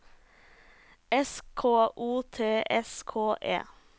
S K O T S K E